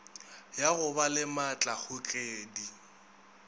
ya go ba le maatlakgogedi